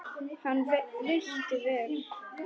Hann veitti vel